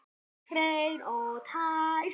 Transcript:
Hreinn og tær.